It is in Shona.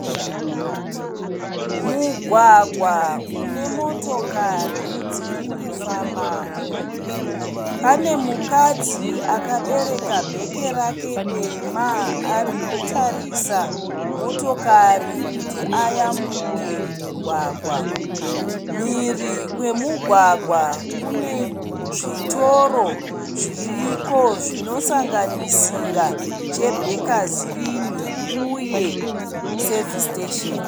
Mugwagwa une motokari dzirikufambamo. Pane mukadzi akabereka bheke rake dema arikutarisa motokari kuti ayambuke mugwagwa. Mhiri kwemugwagwa kune zvitoro zviriko zvinosanganisira cheBakers Inn uye Service station.